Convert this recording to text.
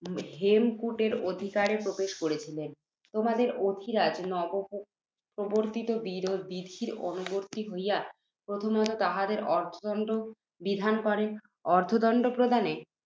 হেমকূটের অধিকারে প্রবেশ করিয়াছিল। তোমাদের অধিরাজ, নবপ্রবর্ত্তিত বিধির অনুবর্ত্তী হইয়া, প্রথমতঃ, তাহাদের অর্থদণ্ড বিধান করেন। অর্থদণ্ড প্রদানে